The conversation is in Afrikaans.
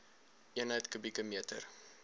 eenheid kubieke meter